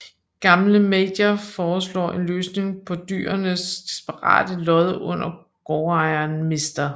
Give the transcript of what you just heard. Gamle Major foreslår en løsning på dyrenes desperate lod under gårdejeren mr